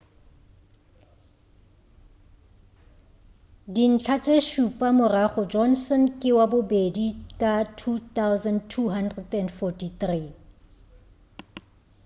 dintlha tše šupa morago johnson ke wa bobedi ka 2,243